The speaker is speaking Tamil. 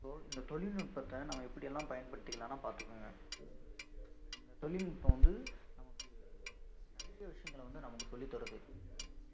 so இந்த தொழில்நுட்பத்தை நாம எப்படியெல்லாம் பயன்படுத்திக்கலாம்ன்னா பாத்துக்கோங்க இந்த தொழில்நுட்பம் வந்து நமக்கு நிறைய விஷயங்கள வந்து நமக்கு சொல்லித்தருது